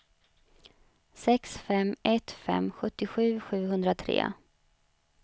sex fem ett fem sjuttiosju sjuhundratre